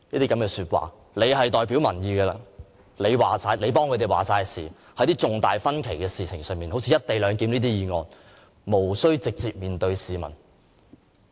據他所言，他是代表民意的，他為市民作決定，在一些有重大分歧的事情上，好像"一地兩檢"這些議案，無需直接面對市民。